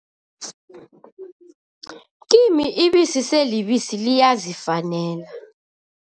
Kimi ibisi selibisi, liyazifanela.